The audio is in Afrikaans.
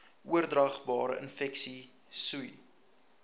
oordraagbare infeksies sois